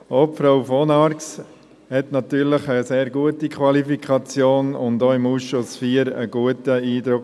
Auch Frau von Arx hat natürlich eine sehr gute Qualifikation und hinterliess auch im Ausschuss IV einen guten Eindruck.